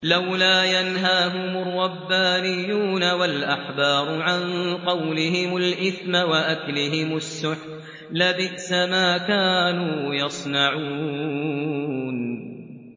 لَوْلَا يَنْهَاهُمُ الرَّبَّانِيُّونَ وَالْأَحْبَارُ عَن قَوْلِهِمُ الْإِثْمَ وَأَكْلِهِمُ السُّحْتَ ۚ لَبِئْسَ مَا كَانُوا يَصْنَعُونَ